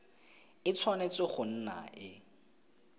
e tshwanetse go nna e